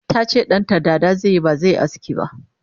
tace ɗanta dada zaiyi bazaiyi aski ba